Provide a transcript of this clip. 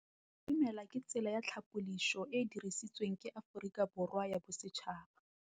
Go itumela ke tsela ya tlhapolisô e e dirisitsweng ke Aforika Borwa ya Bosetšhaba.